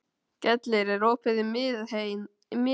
Gellir, er opið í Miðeind?